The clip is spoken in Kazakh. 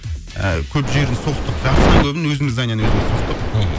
ыыы көп жерін соқтық жартысынан көбін өзіміз зданиені өзіміз соқтық мхм